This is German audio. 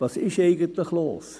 «Was ist eigentlich los?»